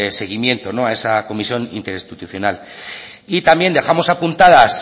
seguimiento a esa comisión interinstitucional y también dejamos apuntadas